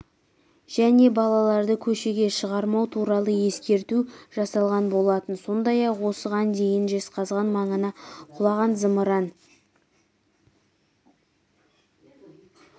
және балаларды көшеге шығармау туралы ескерту жасалған болатын сондай-ақ осыған дейін жезқазған маңына құлаған зымыран